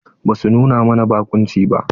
Basu nuna mana baƙunci ba.